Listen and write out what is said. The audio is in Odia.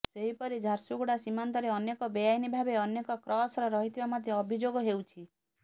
ସେହି ପରି ଝାରସୁଗୁଡ଼ା ସୀମାନ୍ତରେ ଅନେକ ବେଆଇନ ଭାବେ ଅନେକ କ୍ରସର ରହିଥିବା ମଧ୍ୟ ଅଭିଯୋଗ ହେଉଛି